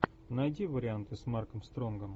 найди варианты с марком стронгом